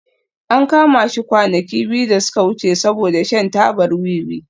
An kama shi kwanaki biyu da suka wuce saboda shan tabar wiwi